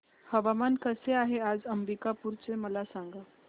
हवामान कसे आहे आज अंबिकापूर चे मला सांगा